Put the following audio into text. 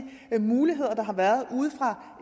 muligheder der har været